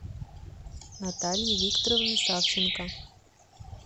натальи викторовны савченко